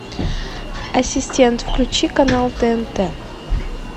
ассистент включи канал тнт